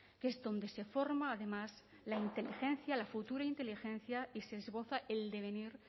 que es donde se forma además la inteligencia la futura inteligencia y se esboza el devenir